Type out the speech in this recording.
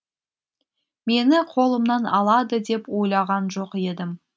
мені қолымнан алады деп ойлаған жоқ едім